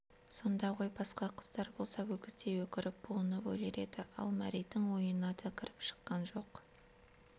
сонда ғой басқа қыздар болса өгіздей өкіріп буынып өлер еді ал мәридің ойына да кіріп шыққан жоқ